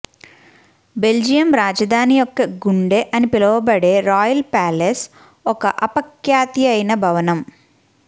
Belgium రాజధాని యొక్క గుండె అని పిలువబడే రాయల్ ప్యాలెస్ ఒక అపఖ్యాతియైన భవనం